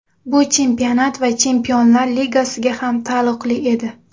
Bu chempionat va Chempionlar Ligasiga ham taalluqli edi.